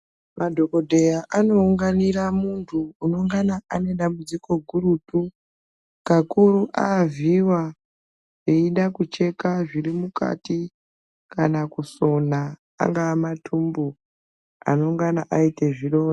Madhokodheya anounganira munthu unengana ane dambudziko gurutu kakuru avhiiwa eida kucheka zviri mukati kana kusona angaa matumbu anengana aita zvironda.